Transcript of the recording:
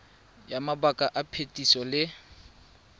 ya mabaka a phetiso le